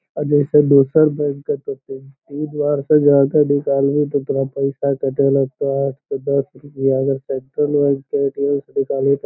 अ जैसे दोसर बैंक का होतइ तीस हज़ार से ज्यादा निकलबी त तोरा पइसा कटे लगतो आठ से दस रुपया अगर सेंट्रल बैंक क ए.टी.एम. से निकलबी त --